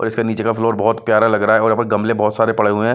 और इसके नीचे का फ्लोर बहुत प्यारा लग रहा है और यहाँ पे गमलें बहुत सारे पड़े हुए हैं।